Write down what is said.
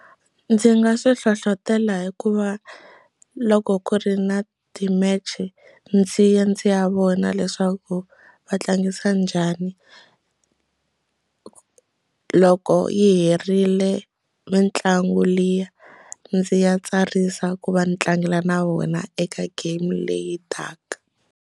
Ndzi nga swi hlohlotelo hikuva loko ku ri na ti-match-e ndzi ya ndzi ya vona leswaku va tlangisa njhani loko yi herile mitlangu liya ndzi ya tsarisa ku va ni tlangela na vona eka game leyi taka.